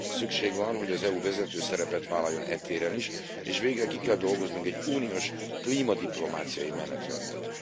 Szükség van arra, hogy az EU vezető szerepet vállaljon e téren is, és végre ki kell dolgoznunk egy uniós klímadiplomáciai menetrendet.